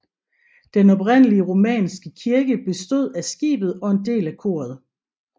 Den oprindelige romanske kirke bestod af skibet og en del af koret